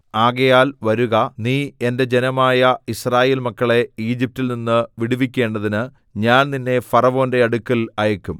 ആകയാൽ വരുക നീ എന്റെ ജനമായ യിസ്രായേൽ മക്കളെ ഈജിപ്റ്റിൽ നിന്ന് വിടുവിക്കേണ്ടതിന് ഞാൻ നിന്നെ ഫറവോന്റെ അടുക്കൽ അയയ്ക്കും